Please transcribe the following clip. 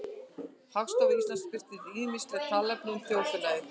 Hagstofa Íslands birtir ýmislegt talnaefni um þjóðfélagið.